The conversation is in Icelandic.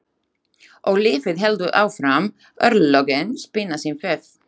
Og lífið heldur áfram, örlögin spinna sinn vef.